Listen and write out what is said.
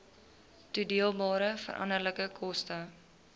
toedeelbare veranderlike koste